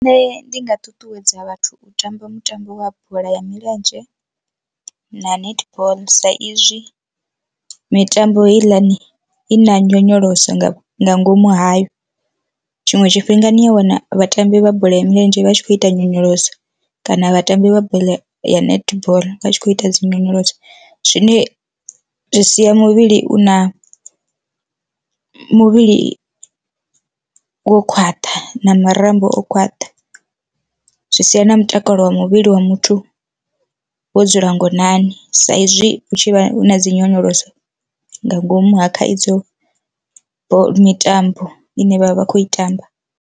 Nṋe ndi nga ṱuṱuwedza vhathu u tamba mutambo wa bola ya milenzhe na netball saizwi mitambo heiḽani i na nyonyoloso nga nga ngomu hayo, tshiṅwe tshifhinga ni a wana vhatambi vha bola ya milenzhe vha tshi khou ita nyonyoloso kana vhatambi vha bola ya netball vha tshi kho ita dzi nyonyoloso. Zwine zwi sia muvhili u na muvhili wo khwaṱha na marambo o khwaṱha zwi sia na mutakalo wa muvhili wa muthu wo dzula ngonani sa izwi hu tshi vha hu na dzi nyonyoloso nga ngomu ha khaidzo mitambo ine vhavha vha khou i tamba.